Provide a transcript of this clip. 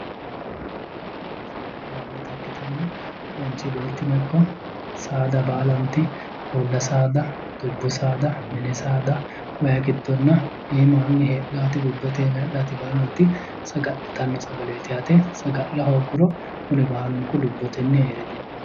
Saga'linannita ikkitanna manchi beettino ikko saada baalanti uulla saada dubbu saada mini saada iimaanni heedhaati bubbete iima heedhaati baalanti saga'litanno sagaleeti yaate. Saga'la hoogguro kuni baalunku lubbotenni heere diafanno.